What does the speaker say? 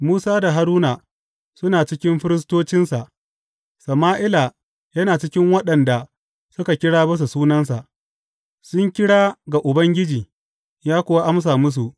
Musa da Haruna suna cikin firistocinsa, Sama’ila yana cikin waɗanda suka kira bisa sunansa; sun kira ga Ubangiji ya kuwa amsa musu.